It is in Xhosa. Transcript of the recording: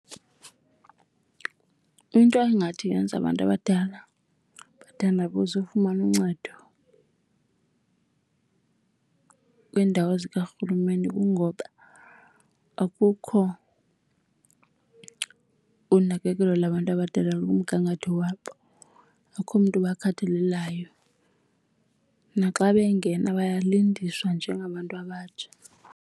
Into engathi yenza abantu abadala bathandabuze ukufumana uncedo kwiindawo zikarhulumente kungoba akukho unakekelo labantu abadala kumgangatho wabo, akukho mntu obakhathalelayo, naxa bengena bayalindiswa njengabantu abatsha.